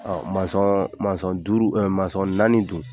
duuru naani dun ?